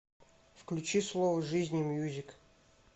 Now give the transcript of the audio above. включи слово жизни мьюзик